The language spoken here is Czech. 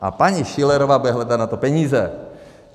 A paní Schillerová bude hledat na to peníze.